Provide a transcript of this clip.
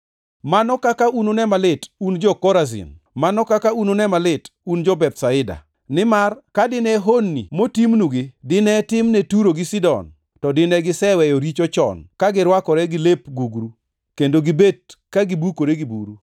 “Mano kaka unune malit un jo-Korazin! Mano kaka unune malit un jo-Bethsaida! Nimar ka dine honni motimnugi dinetim ne Turo gi Sidon to dine giseweyo richo chon ka girwakore gi lep gugru, kendo gibet ka gibukore gi buru.